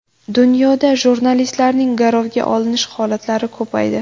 Dunyoda jurnalistlarning garovga olinish holatlari ko‘paydi.